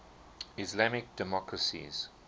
islamic democracies